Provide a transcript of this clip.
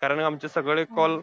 कारण आमचे सगळे call,